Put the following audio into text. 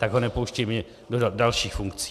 Tak ho nepouštějme do dalších funkcí.